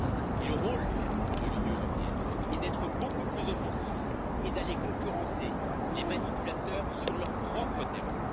et le rôle de l'Union européenne est d'être beaucoup plus offensif et d'aller concurrencer les manipulateurs sur leur propre terrain.